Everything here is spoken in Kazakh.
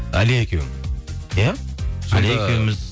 әлия екеуің иә